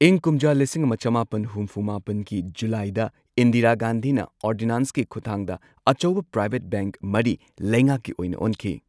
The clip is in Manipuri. ꯏꯪ ꯀꯨꯝꯖꯥ ꯂꯤꯁꯤꯡ ꯑꯃ ꯆꯃꯥꯄꯟ ꯍꯨꯝꯐꯨ ꯃꯥꯄꯟꯒꯤ ꯖꯨꯂꯥꯏꯗ ꯏꯟꯗꯤꯔꯥ ꯒꯥꯟꯙꯤꯅ ꯑꯣꯔꯗꯤꯅꯥꯟꯁꯀꯤ ꯈꯨꯠꯊꯥꯡꯗ ꯑꯆꯧꯕ ꯄ꯭ꯔꯥꯏꯚꯦꯠ ꯕꯦꯡꯛ ꯃꯔꯤ ꯂꯩꯉꯥꯛꯀꯤ ꯑꯣꯏꯅ ꯑꯣꯟꯈꯤ꯫